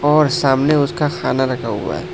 और सामने उसका खाना रखा हुआ है।